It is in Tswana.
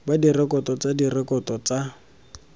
ba direkoto tsa direkoto tsa